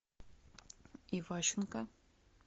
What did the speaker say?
иващенко